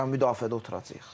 Müdafiədə oturacağıq.